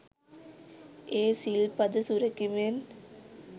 ඒ සිල් පද සුරැකීමෙන්